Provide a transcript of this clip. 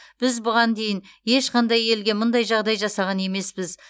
біз бұған дейін ешқандай елге мұндай жағдай жасаған емеспіз